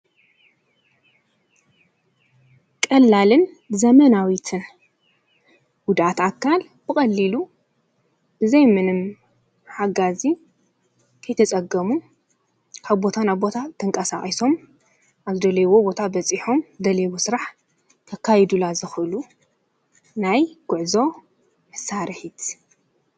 ቀላልን ዘመናዊትን ጉዳት ኣካል ብቐሊሉ ብዘይ ምንም ሓጋ ዚ ከይተፀገሙ ካብ ቦታናብ ቦታ ተንቃሳቅሶም ኣብ ዝደለይዎ ቦታ በጺሖም ዝደለይዎ ሥራሕ ከካይዱላ ዝኽሉ ናይ ጐዕዞ ምሳርሒት።